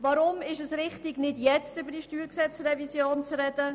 Weshalb ist es richtig, nicht jetzt über die StG-Revision zu sprechen?